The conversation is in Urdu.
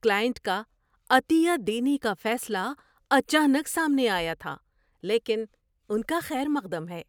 کلائنٹ کا عطیہ دینے کا فیصلہ اچانک سامنے آیا تھا، لیکن ان کا خیر مقدم ہے۔